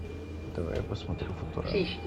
давай я посмотрю футурама